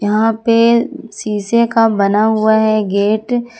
यहां पे शीशे का बना हुआ है ये गेट ।